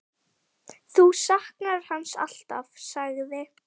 Þú saknar hans alltaf, sagði